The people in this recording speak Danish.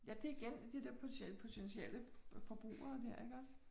Ja, det igen det der potentiel potentielle forbrugere der iggås